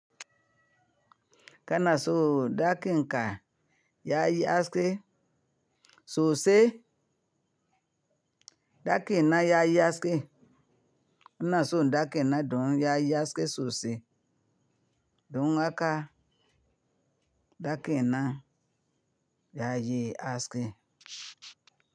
Kana so ɗaki in ka yayi aske sosai, ɗaki na yayi aske. Ina son ɗaki na dun yayi haske sosai. Dun haka ɗaki na yayi haske.